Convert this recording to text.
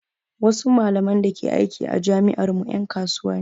Wasu malaman da ke aiki a jami'ar mu ƴan kasuwa ne